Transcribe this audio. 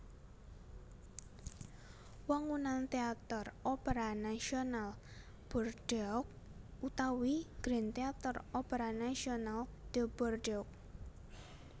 Wangunan Téater Opera Nasional Bordeaux utawi Grand Theatre Opera National de Bordeaux